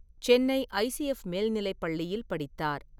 Chennai ICF மேல்நிலைப் பள்ளியில் படித்தார்.